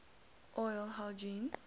oral hygiene